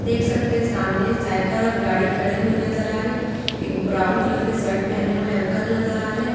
देख सकते हैं सामने साइकल गाड़ी खड़े हुए नजर आ रहे एक ब्राउन कलर के शर्ट पहने हुए अंकल नजर आ रहे--